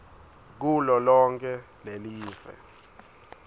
kulo lonkhe lelive